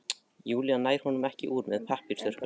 Júlía nær honum ekki úr með pappírsþurrkum.